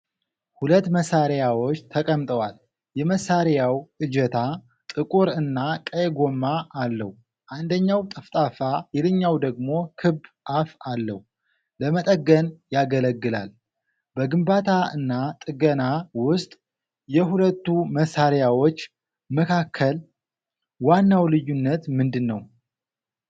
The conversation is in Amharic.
ሁለት መሳሪያዎች ተቀምጠዋል። የመሳሪያው እጀታ ጥቁር እና ቀይ ጎማ አለው። አንደኛው ጠፍጣፋ፣ ሌላኛው ደግሞ ክብ አፍ አለው። ለመጠገን ያገለግላል። በግንባታ እና ጥገና ውስጥ የሁለቱ መሳሪያዎች መካከል ዋናው ልዩነት ምንድን ነው?